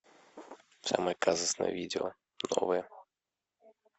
самое казусное видео новое